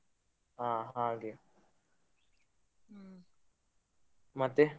ಹಾ ಹಾಗೆ ಮತ್ತೆ?